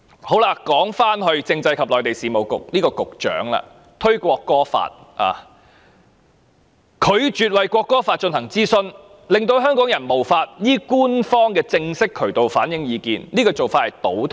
談回政制及內地事務局局長，他推出《國歌條例草案》，並拒絕就其進行諮詢，令香港人無法依官方的正式渠道反映意見，這做法是倒退的。